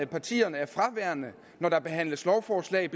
partierne er fraværende når der behandles lovforslag